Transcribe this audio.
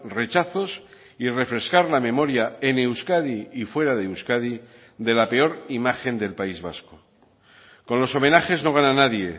rechazos y refrescar la memoria en euskadi y fuera de euskadi de la peor imagen del país vasco con los homenajes no gana nadie